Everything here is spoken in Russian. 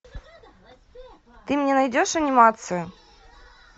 ты мне найдешь анимацию